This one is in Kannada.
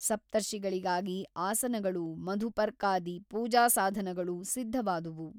ಸಪ್ತರ್ಷಿಗಳಿಗಾಗಿ ಆಸನಗಳೂ ಮಧುಪರ್ಕಾದಿ ಪೂಜಾಸಾಧನಗಳೂ ಸಿದ್ಧವಾದುವು.